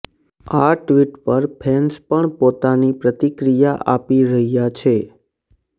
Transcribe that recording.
આ ટ્વીટ પર ફેન્સ પણ પોતાની પ્રતિક્રિયા આપી રહ્યાં છે